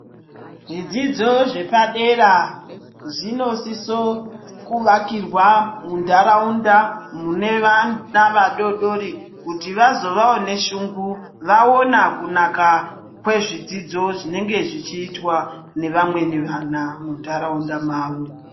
Zvidzidzo zvepadera zvinosisa kuakirwa mundaraunda mune vana vadodori kuti vazovawo neshungu vaona kunaka kwezvidzidzo zvinenge zvichiitwa nevamweni vana mundaraunda mwavo.